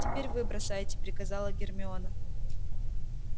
теперь вы бросайте приказала гермиона